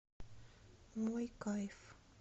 мой кайф